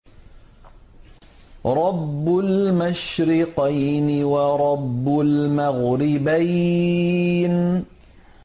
رَبُّ الْمَشْرِقَيْنِ وَرَبُّ الْمَغْرِبَيْنِ